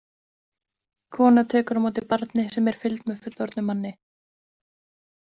Kona tekur á móti barni sem er í fylgd með fullorðnum manni.